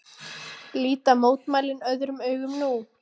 Líta mótmælin öðrum augum nú